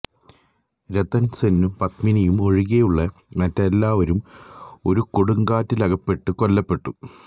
രത്തൻ സെന്നും പത്മിനിയും ഒഴികെയുള്ള മറ്റെല്ലാവരും ഒരു കൊടുങ്കാറ്റിലകപ്പെട്ട് കൊല്ലപ്പെട്ടു